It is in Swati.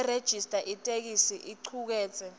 nerejista itheksthi icuketse